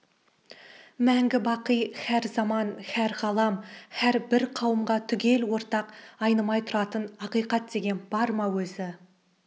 мәңгі бақи һәр заман һәр ғалам һәр бір қауымға түгел ортақ айнымай тұратын ақиқат деген бар ма өзі